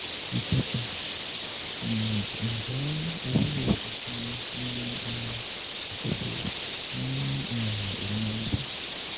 3. um Njẹ owo iṣimi ni a ṣakoso ni um ominira bi?